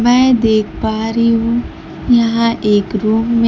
मैं देख पा रही हूं यहां एक रूम में--